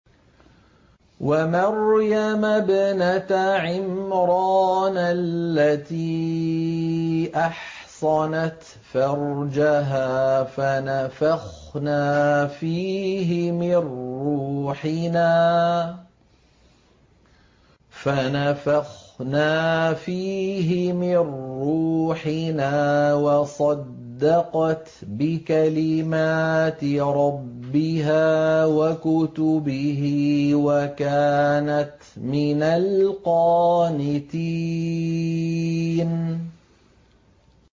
وَمَرْيَمَ ابْنَتَ عِمْرَانَ الَّتِي أَحْصَنَتْ فَرْجَهَا فَنَفَخْنَا فِيهِ مِن رُّوحِنَا وَصَدَّقَتْ بِكَلِمَاتِ رَبِّهَا وَكُتُبِهِ وَكَانَتْ مِنَ الْقَانِتِينَ